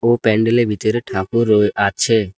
ও প্যান্ডেলের ভিতরে ঠাকুর ও আছে।